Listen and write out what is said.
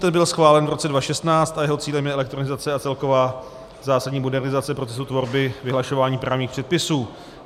Ten byl schválen v roce 2016 a jeho cílem je elektronizace a celková zásadní modernizace procesu tvorby vyhlašování právních předpisů.